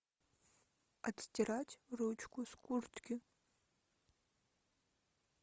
отстирать ручку с куртки